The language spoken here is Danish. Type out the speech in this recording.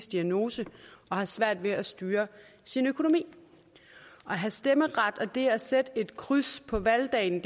diagnose og har svært ved at styre sin økonomi at have stemmeret og det at sætte et kryds på valgdagen